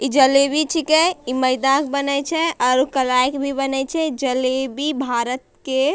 इ जलेबी छीके ई मैदा क बनय छै आरू कलाए क भी बने छै जलेबी भारत के --